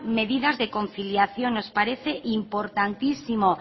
medidas de conciliación nos parece importantísimo